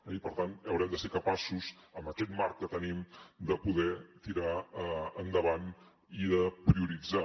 i per tant haurem de ser capaços amb aquest marc que tenim de poder tirar endavant i de prioritzar